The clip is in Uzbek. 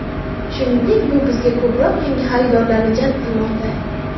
Shuningdek, bu bizga ko‘proq yangi xaridorlarni jalb qilmoqda.